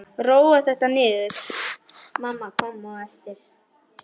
Róa þetta niður!